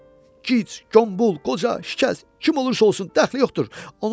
Gic, qombul, qoca, şiş, kim olursa olsun, dəxli yoxdur.